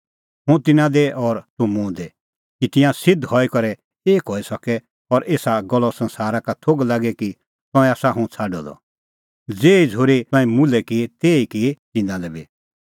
हुंह तिन्नां दी और तूह मुंह दी कि तिंयां सिध्द हई करै एक हई सके और एसा गल्लो संसारा का थोघ लागे कि तंऐं आसा हुंह छ़ाडअ द ज़ेही झ़ूरी तंऐं मुल्है की तेही की तंऐं तिन्नां लै बी